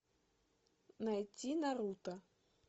найти наруто